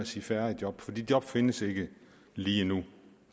sige færre job for de job findes ikke lige nu